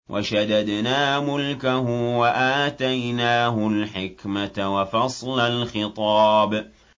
وَشَدَدْنَا مُلْكَهُ وَآتَيْنَاهُ الْحِكْمَةَ وَفَصْلَ الْخِطَابِ